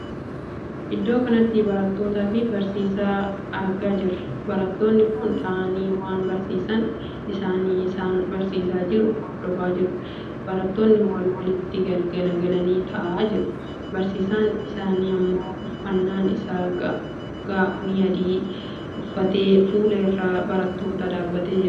Iddoo kanatti barattootaa fi barsiisaa argaa jirra. barattoonni kun taa'anii waan barsiisaan isaanii isaan barsiisaa jiru hordofaa jiru. barattoonni wal walitti gaggalagalanii taa'aa jiru. barsiisaan isaanii ammoo uffannaan isaa gaa'onii adii uffatee fuula dura barattootaa dhaabbatee barsiisaa kan jiruudha.